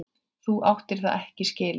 Þú áttir það ekki skilið.